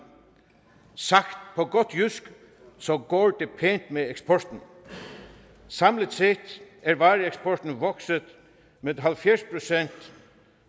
sagt på godt jysk så går det med eksporten og samlet set er vareeksporten vokset med halvfjerds procent